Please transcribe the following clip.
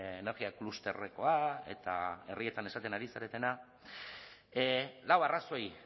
energia klusterrekoa eta herrietan esaten ari zaretena lau arrazoi